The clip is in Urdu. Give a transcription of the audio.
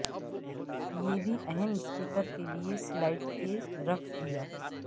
یہ بھی اہم اسپیکر کے لئے سلاٹ کے رکھ دیا